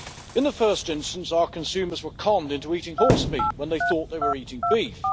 In the first instance our consumers were conned into eating horsemeat when they thought they were eating beef.